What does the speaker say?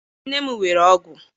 nne m were ọgwụ.